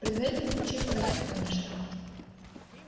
предварительно включив в розетку конечно